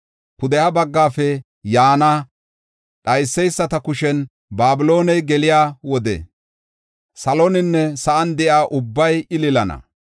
Pudeha baggafe yaana dhayseysata kushen Babilooney geliya wode saloninne sa7an de7iya ubbabay ililana.